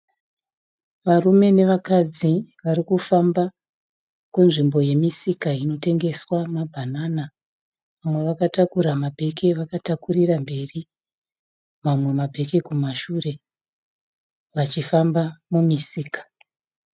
Varume nevakadzi varikufamba kunzvimbo yemisika inotengeswa mabhanana. Umwe akatakura mabhegi avakatakurira mberi mamwe mabhegi kumashure vachifamba mumusika.